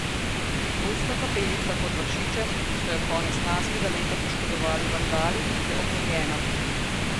Ruska kapelica pod Vršičem, ki so jo konec lanskega leta poškodovali vandali, je obnovljena.